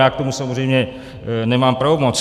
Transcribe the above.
Já k tomu samozřejmě nemám pravomoc.